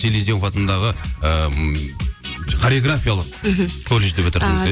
селизнев атындағы ы хореографиялық мхм колледжді бітірдіңіз иә